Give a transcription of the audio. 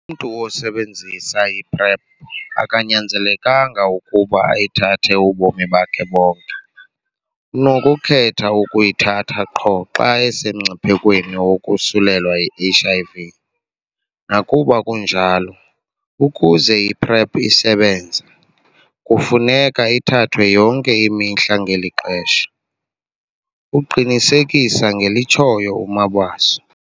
"Umntu osebenzisa i-PrEP akanyanzelekanga ukuba ayithathe ubomi bakhe bonke, unokukhetha ukuyithatha qho xa esemngciphekweni wokosulelwa yi-HIV. Nakuba kunjalo, ukuze i-PrEP isebenze, kufuneka ithathwe yonke imihla [ngeli xesha]," uqinisekisa ngelitshoyo uMabaso.